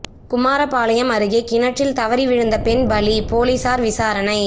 குமாரபாளையம் அருகே கிணற்றில் தவறி விழுந்து பெண் பலி போலீசார் விசாரணை